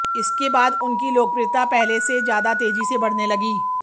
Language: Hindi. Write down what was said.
इसके बाद उनकी लोकप्रिता पहले से ज्यादा तेजी से बढ़ने लगी